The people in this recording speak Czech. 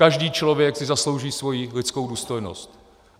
Každý člověk si zaslouží svoji lidskou důstojnost.